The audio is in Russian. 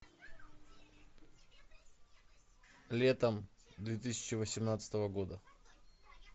летом две тысячи восемнадцатого года